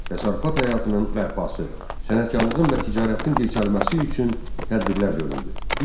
Təsərrüfat həyatının bərpası, sənətkarlığın və ticarətin dirçəlməsi üçün tədbirlər görüldü.